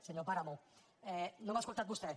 senyor páramo no m’ha escoltat vostè